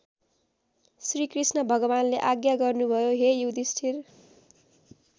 श्रीकृष्ण भगवानले आज्ञा गर्नु भयो हे युधिष्ठिर!